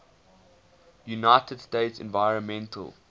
united states environmental